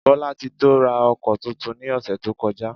Bolatito ra oko túntún ní osé to kojá.